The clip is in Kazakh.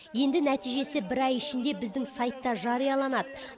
енді нәтижесі бір ай ішінде біздің сайтта жарияланады